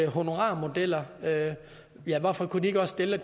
honorarmodeller hvorfor kunne de ikke også gælde